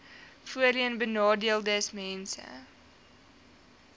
voorheenbenadeeldesmense